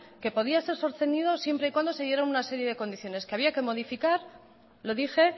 que podía ser sostenido siempre y cuando se dieran una serie de condiciones que había que modificar lo dije